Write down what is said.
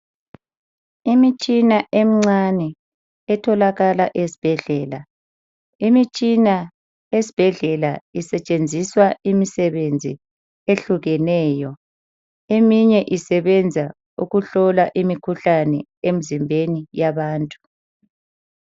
Imitshina emincane etholakala ezibhedlela. Imitshina esibhedlela isetshenziswa imisebenzi ehlukeneyo. Eminye isebenza ukuhlola imikhihlane emizimbeni yabantu.